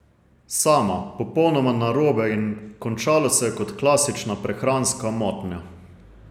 Sama, popolnoma narobe in končalo se je kot klasična prehranska motnja.